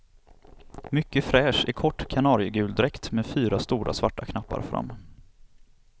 Mycket fräsch i kort kanariegul dräkt med fyra stora svarta knappar fram.